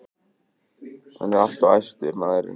Hann er alltof æstur, maðurinn.